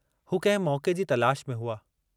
हू कहिं मौके जी तलाश में हुआ।